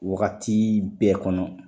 Wagati bɛɛ kɔnɔ